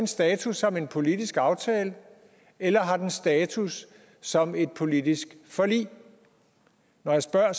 status som en politisk aftale eller har den status som et politisk forlig når jeg spørger er